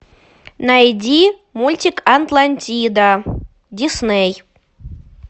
найди мультик атлантида дисней